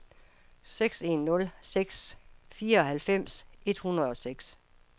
seks en nul seks fireoghalvfems et hundrede og seks